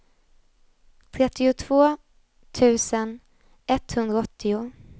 trettiotvå tusen etthundraåttio